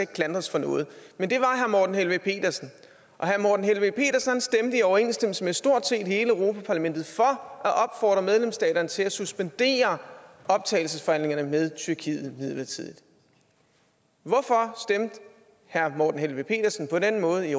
klandres for noget men det var herre morten helveg petersen og herre morten helveg petersen stemte i overensstemmelse med stort set hele europa parlamentet for at opfordre medlemsstaterne til at suspendere optagelsesforhandlingerne med tyrkiet midlertidigt hvorfor stemte herre morten helveg petersen på den måde i